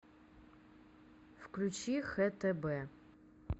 включи хтб